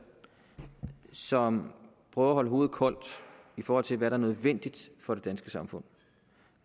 som prøver at holde hovedet koldt i forhold til hvad der er nødvendigt for det danske samfund